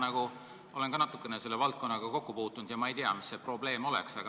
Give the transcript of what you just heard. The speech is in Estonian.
Ma olen ka natukene selle valdkonnaga kokku puutunud ja ma ei tea, mis see probleem on.